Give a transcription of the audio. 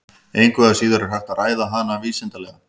Engu að síður er hægt að ræða hana vísindalega.